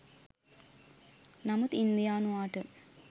නමුත් ඉන්දියානුවාට